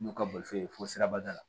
N'u ka bolifo ye fɔ sirabada la